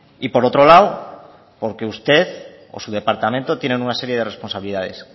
y por otro lado porque usted o su departamento tienen una serie de responsabilidades